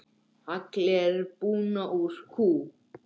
Hagl er buna úr kú.